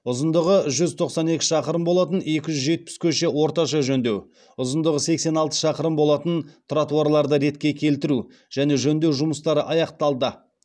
ұзындығы жүз тоқсан екі шақырым болатын екі жүз жетпіс көше орташа жөндеу ұзындығы сексен алты шақырым болатын тротуарларды ретке келтіру және жөндеу жұмыстары аяқталды